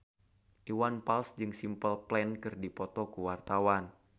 Iwan Fals jeung Simple Plan keur dipoto ku wartawan